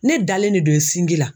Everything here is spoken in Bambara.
Ne dalen de don sinji la.